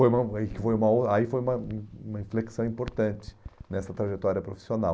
foi uma uma aí foi uma uma inflexão importante nessa trajetória profissional.